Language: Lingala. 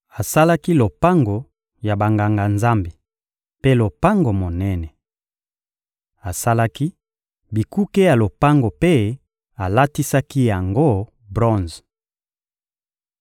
Asalaki lopango ya Banganga-Nzambe mpe lopango monene. Asalaki bikuke ya lopango mpe alatisaki yango bronze. (1Ba 7.38-51)